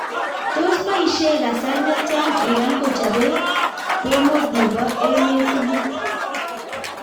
Tos baishee kasar netyaa Iran kochopee pomoot nepoo emet tugul